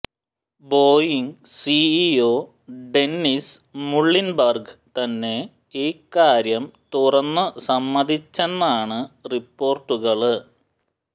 Boeing CEO Dennis Muilenburg തന്നെ ഇക്കാര്യം തുറന്നു സമ്മതിച്ചെന്നാണ് റിപ്പോര്ട്ടുകള്